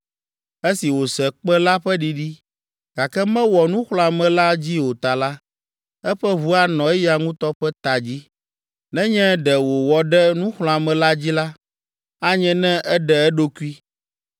Esi wòse kpẽ la ƒe ɖiɖi, gake mewɔ nuxlɔ̃ame la dzi o ta la, eƒe ʋu anɔ eya ŋutɔ ƒe ta dzi. Nenye ɖe wòwɔ ɖe nuxlɔ̃ame la dzi la, anye ne eɖe eɖokui.